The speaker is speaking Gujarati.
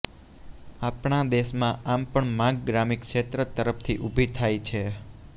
આપણા દેશમાં આમ પણ માંગ ગ્રામીણ ક્ષેત્ર તરફથી ઊભી થાય છે